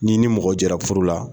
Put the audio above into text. N'i ni mɔgɔ jɛra furu la